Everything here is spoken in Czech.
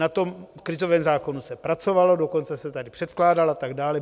Na tom krizovém zákonu se pracovalo, dokonce se tady předkládal a tak dále.